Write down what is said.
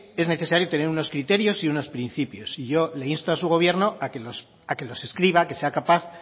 es necesario tener unos criterios y unos principios y yo le insto a su gobierno a que los escriba que sea capaz